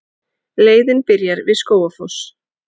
Leiðin byrjar við Skógafoss.